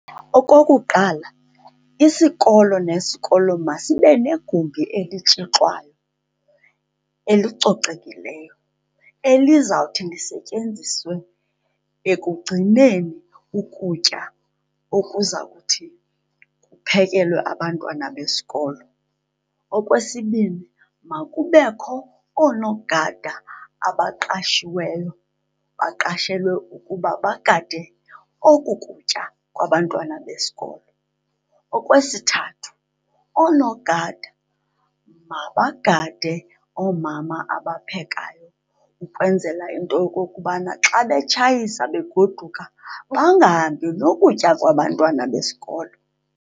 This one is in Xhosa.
Okokuqala, isikolo nesikolo basibe negumbi elitshixwayo elicocekileyo elizawuthi lisetyenziswe ekugcineni ukutya okuzawuthi kuphekelwe abantwana besikolo. Okwesibini, makubekho oonogada abaqashiweyo, baqashelwe ukuba bagade oku kutya kwabantwana besikolo. Okwesithathu, oonogada mabagade oomama abaphekayo ukwenzela into yokokubana xa betshayisa begoduka bangahambi nokutya kwabantwana besikolo.